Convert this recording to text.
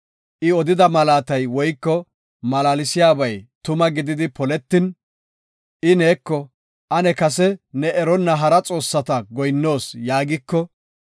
I odida malaatay woyko malaalsiyabay tuma gididi poletin, I neeko, “Ane kase ne eronna hara xoossata goyinnoos” yaagiko,